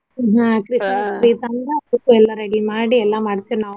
ಆಹ್ Christmas tree ತಂದ ಅದ್ಕು ಎಲ್ಲ ready ಮಾಡಿ ಎಲ್ಲಾ ಮಾಡ್ತೇವ ನಾವು.